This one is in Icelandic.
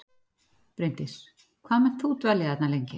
Bryndís: Hvað munt þú dvelja þarna lengi?